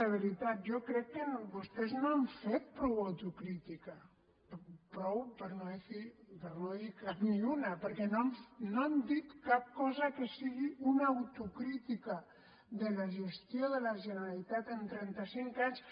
de veritat jo crec que vostès no han fet prou autocrítica prou per no dir cap ni una perquè no han dit cap cosa que sigui una autocrítica de la gestió de la generalitat en trenta cinc anys